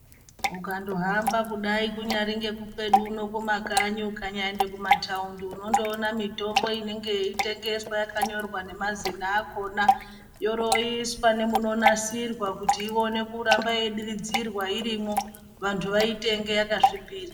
Mukandohamba kudai kunyari kwedu uno kumakanyi ukanyaenda kumataundi unondoona mitombo yeitengeswa yakanyorwa nemazina akona. Yoroiswa nemunonasirwa kuti irambe yeidiridzirwa irimwo vantu vaitenge yakasvipira.